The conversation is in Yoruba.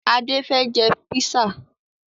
Adé fẹ́ jẹ písà